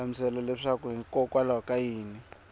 hlamusela leswaku hikokwalaho ka yini